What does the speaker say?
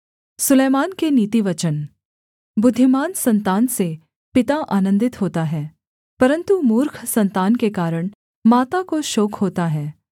सुलैमान के नीतिवचन बुद्धिमान सन्तान से पिता आनन्दित होता है परन्तु मूर्ख सन्तान के कारण माता को शोक होता है